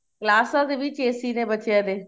ਕਲਾਸਾ ਦੇ ਵਿੱਚ AC ਦੇ ਬੱਚਿਆਂ ਦੇ